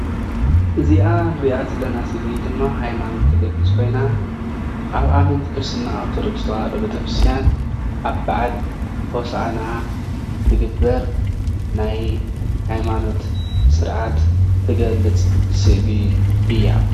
እዚኣ ንሪኣ ዘለና ስእሊ ድማ ሃይማኖት ትገልፅ ኮይና ኣብ ኣመንቲ ክርስትና ኦርቶዶክስ ተዋህዶ ቤተክርስትያን ኣብ በዓል ሆሳእና ትግበር ናይ ሃይማኖት ስርዓት ትገልፅ ስእሊ እያ።